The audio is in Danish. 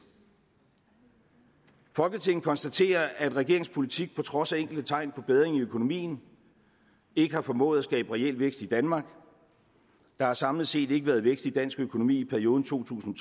folketinget konstaterer at regeringens politik på trods af enkelte tegn på bedring i økonomien ikke har formået at skabe reel vækst i danmark der har samlet set ikke været vækst i dansk økonomi i perioden to tusind